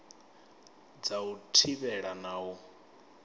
dza u thivhela na u